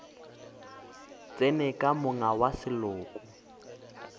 tsene ka monga wa seloko